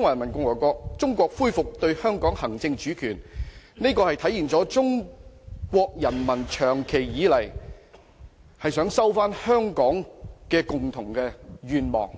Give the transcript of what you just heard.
華人民共和國政府於1997年7月1日恢復對香港行使主權，實現了長期以來中國人民收回香港的共同願望。